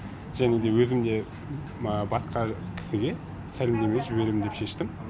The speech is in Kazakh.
және де өзім де басқа кісіге сәлемдеме жіберем деп шештім